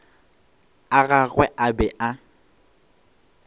a gagwe a be a